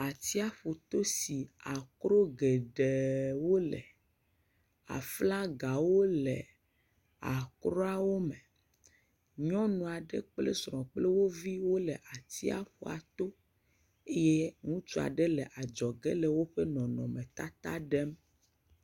Atsiƒuto si akro geɖewo le, aflagawo le akroawo me. Nyɔnu aɖe kple srɔ̃ kple woviwo le atsiaƒuato eye ŋutsu aɖe le adzɔge le woƒe nɔnɔmetata ɖem.